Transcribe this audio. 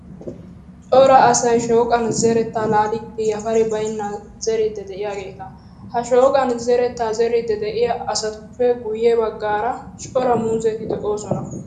Cora asayi shooqan zeretta laalidi yafari baynnan zeriiddi de'iyaageeta. Ha shooqan zerettaa zerriiddi de'iyaa asatuppe guyye baggaara cora muuzeti de'oosona.